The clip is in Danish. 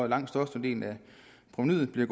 langt størstedelen af provenuet til